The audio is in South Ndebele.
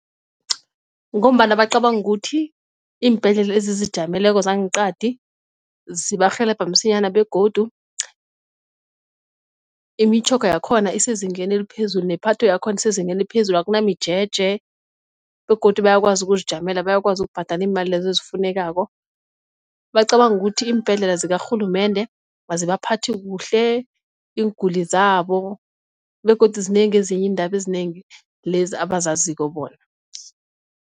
Ngombana bacabanga ukuthi iimbhedlela ezizijameleko zangeqadi zibarhelebha msinyana begodu imitjhoga yakhona isezingeni eliphezulu nephatho yakhona isezingeni eliphezulu akunamijeje, begodu bayakwazi ukuzijamela bayakwazi ukubhadala iimali lezo ezifunekako. Bacabanga ukuthi iimbhedlela zikarhulumende azibaphathi kuhle iinguli zabo begodu zinengi ezinye iindaba ezinengi lezi abazaziko bona.